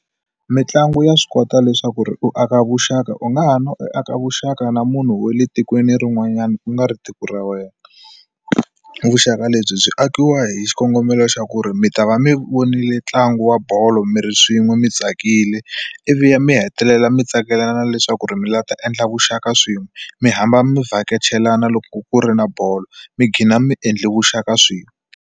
Mitlangu ya swi kota leswaku ri u aka vuxaka u nga ha na u aka vuxaka na munhu wa le tikweni rin'wanyana u nga ri tiko ra wena vuxaka lebyi byi akiwa hi xikongomelo xa ku ri mi ta va mi vonile ntlangu wa bolo mi ri swin'we mi tsakile ivi ya mi hetelela mi tsakelana leswaku ri mi la ta endla vuxaka swin'we mi hamba mi vhakachelana loko ku ri na bolo mi gina mi endla vuxaka swin'we.